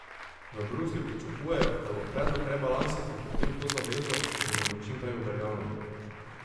V Bruslju pričakujejo, da bo predlog rebalansa potrdil to zavezo, in da bo čim prej uveljavljen.